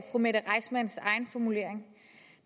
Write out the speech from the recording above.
mette reissmanns egen formulering